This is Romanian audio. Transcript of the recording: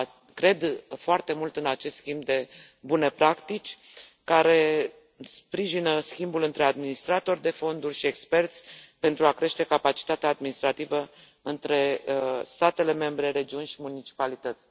Cred foarte mult în acest schimb de bune practici care sprijină schimbul între administratori de fonduri și experți pentru a crește capacitatea administrativă între statele membre, regiuni și municipalități.